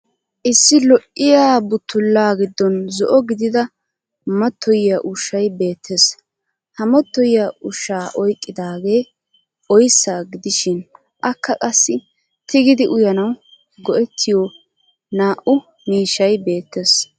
Issi lo'iyaa buttullaa giddon zo'o gidida mattoyiya ushshay beettes. Ha mattoyiya ushshaa oyqqidaagee oyssa gidishin akka qassi tigidi uyanawu go'ettiyo naa'u miishshay beettes.